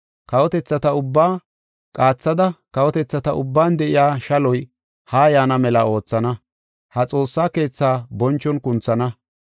Kawotethata ubbaa qaathada kawotethata ubban de7iya shaloy haa yaana mela oothana. Ha xoossa keetha bonchon kunthana.